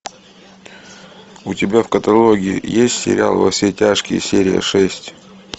у тебя в каталоге есть сериал во все тяжкие серия шесть